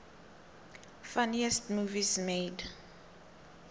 funniest movies made